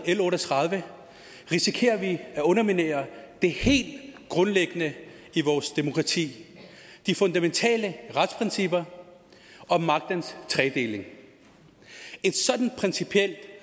l otte og tredive risikerer vi at underminere det helt grundlæggende i vores demokrati de fundamentale principper om magtens tredeling et så principielt